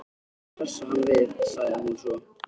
Reyndu að hressa hann við- sagði hún svo.